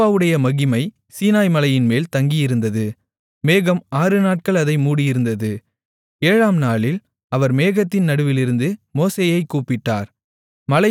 யெகோவாவுடைய மகிமை சீனாய்மலையின்மேல் தங்கியிருந்தது மேகம் ஆறுநாட்கள் அதை மூடியிருந்தது ஏழாம்நாளில் அவர் மேகத்தின் நடுவிலிருந்து மோசேயைக் கூப்பிட்டார்